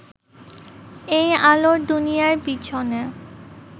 এই আলোর দুনিয়ার পিছনে